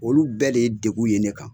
Olu bɛɛ de ye degu ye ne kan